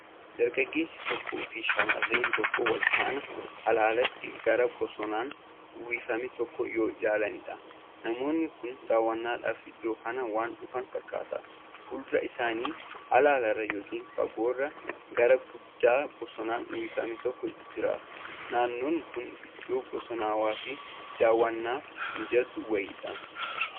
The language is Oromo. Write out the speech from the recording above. Dargaageessi tokkoo fi Shamarreen tokko walfaana halaalatti gaara bosonaan uffifame tokko yoo ilaalanidha. Namoonni kun dawwannaadhaaf iddoo kana waan dhufan fakkaata. Fuuldura isaanii halaalarra yookiin fagoorraa gaara guddaa bosonaan uwwifame tokkotu jira. Naannoon kun iddoo bosanawaa dawwannaafi mijatu wayiidha.